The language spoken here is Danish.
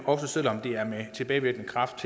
også selv om det er med tilbagevirkende kraft